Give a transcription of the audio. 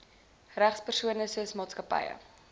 regspersone soos maatskappye